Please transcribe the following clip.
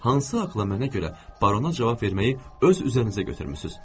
Hansı haqla mənə görə barona cavab verməyi öz üzərinizə götürmüsünüz?